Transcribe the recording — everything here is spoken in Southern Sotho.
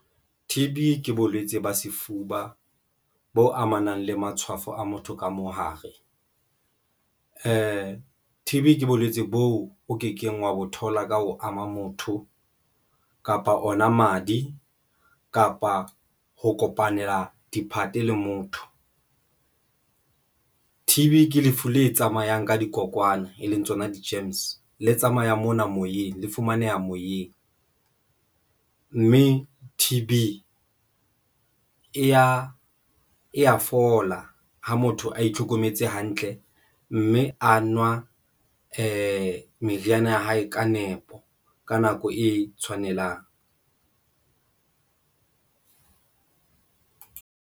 T_B ke bolwetsi ba sefuba bo amanang le matshwafo a motho ka mo hare. T_B ke bolwetsi bo o kekeng wa bo thola ka ho ama motho kapa ona madi kapa ho kopanela diphate le motho T_B Ke lefu le tsamayang ka dikokwana, e leng tsona di-germs le tsamaya mona moyeng, le fumaneha moyeng mme T_B e ya fola ha motho a itlhokometse hantle mme a nwa m meriana ya hae ka nepo ka nako e tshwanelang.